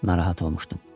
Narahat olmuşdum.